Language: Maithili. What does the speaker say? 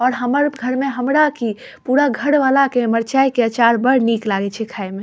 और हमर घर में हमरा की पूरा घर वाला के मरचाय के अचार बड़ निक लागे छे खाय में --